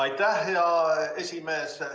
Aitäh, hea esimees!